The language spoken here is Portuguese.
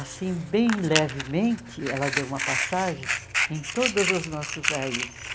Assim, bem levemente, ela deu uma passagem em todas as nossas raízes.